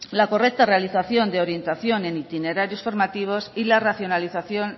la correcta realización de orientación en itinerarios formativos y la racionalización